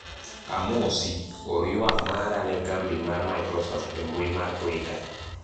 amosi, or ywak mara ne kambi mar microsoft e mbui mar twita